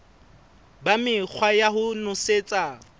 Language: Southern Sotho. ba mekgwa ya ho nosetsa